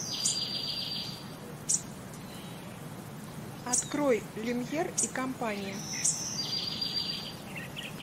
открой люмьер и компания